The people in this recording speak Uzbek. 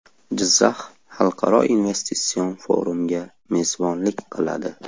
Jizzax xalqaro investitsion forumga mezbonlik qiladi.